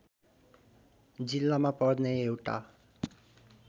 जिल्लामा पर्ने एउटा